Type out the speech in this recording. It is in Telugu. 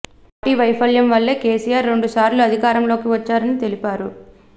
పార్టీ వైఫల్యం వల్లే కేసిఆర్ రెండు సార్లు అధికారంలోకి వచ్చారని తెలిపారు